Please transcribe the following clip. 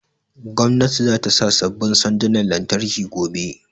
Gwamnatin za ta sa sabbin sandunan lantarki gobe